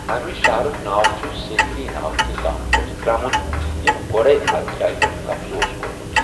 اَمہِ شَہرُک ناو چھُ سیکری ناوٕ کہِ گامہٕ پٮ۪ٹھٕ درٛامُت ییٚمۍ گۄڈٕے اَتھ جایہِ پٮ۪ٹھ قبضہٕ اوس کوٚرمُت۔